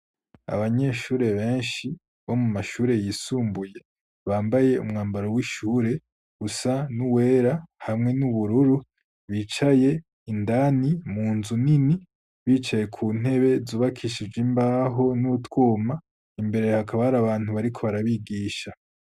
Abanyeshuri benshi bo mu mashuri yisumbuye bambaye umwambaro w'ishure gusa n'uwera hamwe n'ubururu bicaye indani mu nzu nini bicaye ku ntebe zubakishijwe imbaho n'utwuma imbere hakaba hari abantu bariko barabigisha.